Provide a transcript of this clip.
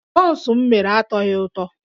Bọns m mere atọghị ụtọ